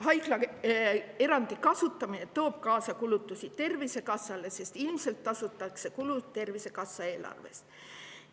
Haiglaerandi kasutamine toob kaasa kulutusi Tervisekassale, sest ilmselt tasutakse kulud Tervisekassa eelarvest.